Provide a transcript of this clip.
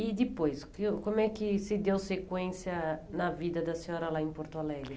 E depois, o como é que se deu sequência na vida da senhora lá em Porto Alegre?